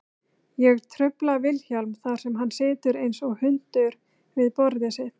Ég trufla Vilhjálm þar sem hann situr einsog hundur við borðið sitt.